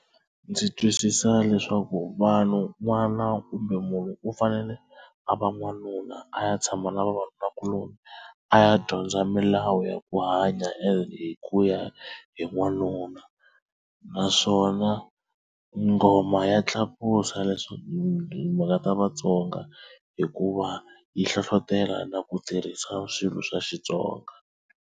Ndzi twisisa leswaku vanhu n'wana kumbe munhu u fanele a va n'wanuna a ya tshama na vavanunakuloni a ya dyondza milawu ya ku hanya ene hi ku ya hi n'wanuna naswona ngoma ya tlakusa leswi mhaka ta vaTsonga hikuva yi hlohlotelo na ku tirhisa swilo swa Xitsonga.